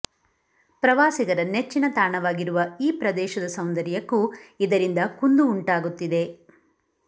ಪ್ರವಾಸಿಗರ ನೆಚ್ಚಿನ ತಾಣವಾಗಿರುವ ಈ ಪ್ರದೇಶದ ಸೌಂದರ್ಯಕ್ಕೂ ಇದರಿಂದ ಕುಂದು ಉಂಟಾಗುತ್ತಿದೆ